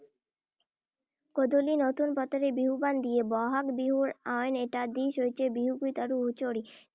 গধূলি নতুন পঘাৰে বিহুৱান দিয়ে। বহাগ বিহুৰ আন এটা দিশ হৈছে বিহুগীত আৰু হুঁচৰি। ।